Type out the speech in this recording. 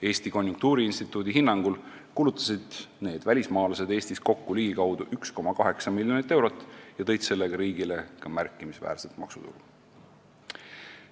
Eesti Konjunktuuriinstituudi hinnangul kulutasid need välismaalased Eestis kokku ligikaudu 1,8 miljonit eurot ja tõid sellega riigile ka märkimisväärset maksutulu.